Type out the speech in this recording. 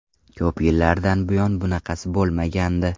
Ko‘p yillardan buyon bunaqasi bo‘lmagandi.